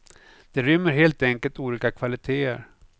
De rymmer helt enkelt olika kvalitéer.